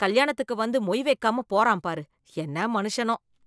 கல்யாணத்துக்கு வந்து மொய் வெக்காம போறான் பாரு, என்ன மனுஷனோ.